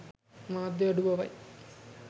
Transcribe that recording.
මාධ්‍ය අඩුබවයි.